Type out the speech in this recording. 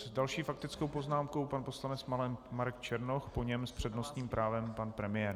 S další faktickou poznámkou pan poslanec Marek Černoch, po něm s přednostním právem pan premiér.